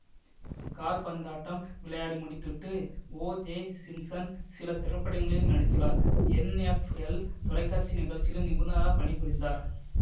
காற்பந்தாட்டம் விளையாடி முடிந்துவிட்டு O J Simpson சில திரைப்படங்களில் நடித்துள்ளார் என்எஃப்எல் தொலைக்காட்சி நிகழ்ச்சிகளிலும் நிபுணராக பணி புரிந்தார்